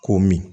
Ko min